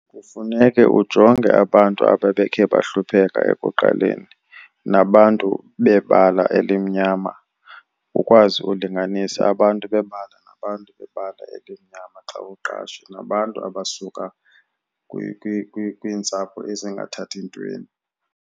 Kufuneke ujonge abantu ababekhe bahlupheka ekuqaleni nabantu bebala elimnyama, ukwazi ulinganisa abantu bebala nabantu bebala elimnyama xa uqasha. Nabantu abasuka kwiintsapho ezingathathi ntweni.